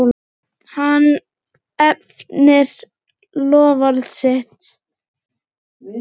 Hann efnir loforð sitt.